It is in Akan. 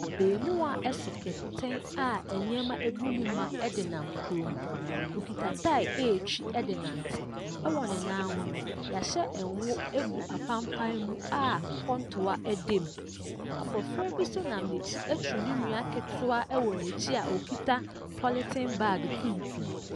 Abarimaa so kɛnkɛn a nneɛma gu mu ma de nam kurom. Ɔkita tyre retwi de renante. Wɔ ne nan ho no, wɔahyɛ ngo gu apampaa mu a kɔntoa da mu. Abɔfra bi nso nam n'akyi aturu ne nua ketewa wɔ n'akyi a ɔkita polythene bag tuntum.